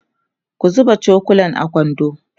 ku zuba cokulan a kwando